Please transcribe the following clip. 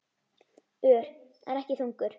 Ör, en ekki þungur.